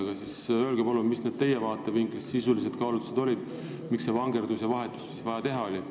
Aga mis olid siis teie vaatevinklist sisulised kaalutlused, miks oli vaja see vangerdus ja vahetus teha?